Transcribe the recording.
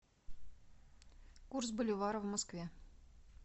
курс боливара в москве